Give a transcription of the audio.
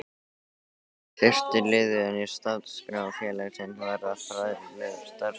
Fyrsti liðurinn í stefnuskrá félagsins varðar fræðslustarfsemi.